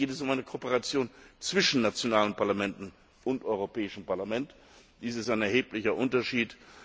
Hier geht es um eine Kooperation zwischen nationalen Parlamenten und dem Europäischen Parlament. Dies ist ein erheblicher Unterschied.